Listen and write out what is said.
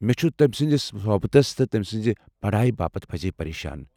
مےٚ چُھس تمہِ سٕنٛدِس صحبتٕس تہٕ تمہِ سٕنزِ پڑایہ باپت پزی پریشان ۔